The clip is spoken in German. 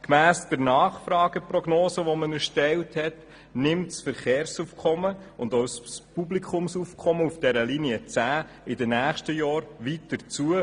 Gemäss der erstellten Nachfrageprognose nehmen das Verkehrs- und das Publikumsaufkommen auf der Buslinie 10 in den nächsten Jahren weiter zu.